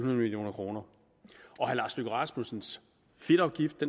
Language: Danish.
million kroner herre lars løkke rasmussens fedtafgift